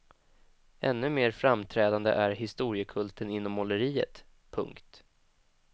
Ännu mer framträdande är historiekulten inom måleriet. punkt